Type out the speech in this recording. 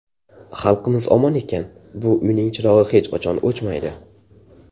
Xalqimiz omon ekan, bu uyning chirog‘i hech qachon o‘chmaydi.